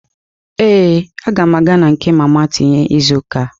Ee, aga m aga na nke mama tinye izu ụka a.